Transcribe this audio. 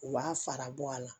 U b'a fara bɔ a la